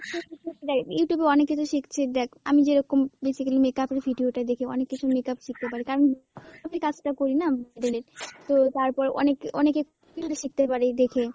Youtube এ অনেক কিছু শিখছে, দ্যাখ আমি যেরকম basically makeup এর video টা দেখি, অনেক কিছু makeup শিখতে পারি, তার মুখ কাজ টা করি না তো তার পর অনেক~ অনেকে তুইও তো শিখতে পারিস দেখে।